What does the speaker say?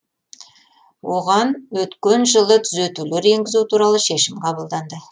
оған өткен жылы түзетулер енгізу туралы шешім қабылданды